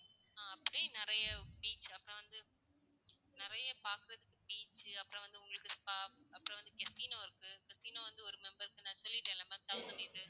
ஆஹ் அப்படி நிறைய beach அப்பறம் வந்து நிறைய பாக்குறதுக்கு beach அப்பறம் வந்து உங்களுக்கு spa அப்பறம் வந்து casino இருக்கு casino வந்து ஒரு member க்கு நான் சொல்லிடேன்ல ma'am thousand eight hundred